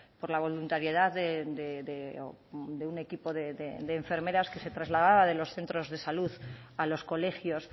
por la voluntariedad de un equipo de enfermeras que se trasladaba de los centros de salud a los colegios